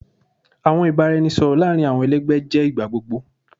Awọn ibaraẹnisọrọ laarin awọn ẹlẹgbẹ jẹ igbagbogbo